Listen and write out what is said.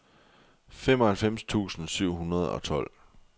femoghalvfems tusind syv hundrede og tolv